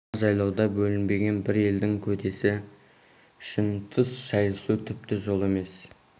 мына жайлауда бөлінбеген бір елдің көдесі үшін түс шайысу тіпті жол емес